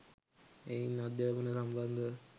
එහෙයින් අධ්‍යාපනය සමිබන්ධව